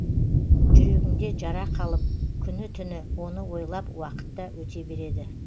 жүрегіңде жара қалып күні түні оны ойлап уақыт та өте береді